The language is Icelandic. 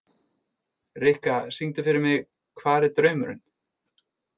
Rikka, syngdu fyrir mig „Hvar er draumurinn“.